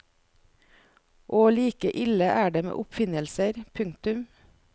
Og like ille er det med oppfinnelser. punktum